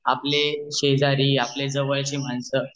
आपले शेजारी आपले जवळ चे माणस